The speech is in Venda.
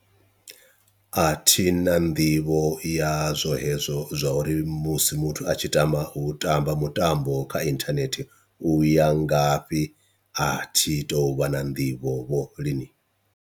A thi na nḓivho yazwo hezwo zwa uri musi muthu a tshi tamba u tamba mutambo kha inthanethe u ya ngafhi, a thi tou vha na nḓivho vho lini.